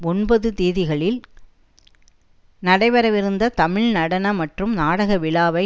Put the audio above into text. ஒன்பது திகதிகளில் நடைபெறவிருந்த தமிழ் நடன மற்றும் நாடக விழாவை